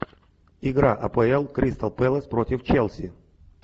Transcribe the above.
игра апл кристал пэлас против челси